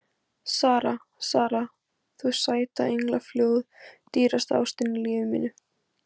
Sara, Sara, þú sæta englafljóð, dýrasta ástin í lífi mínu.